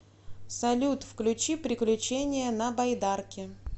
салют включи приключения на байдарке